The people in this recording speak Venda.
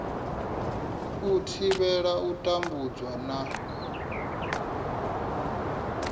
u thivhela u tambudzwa na